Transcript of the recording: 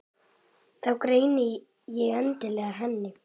Þá greini ég andlit hennar.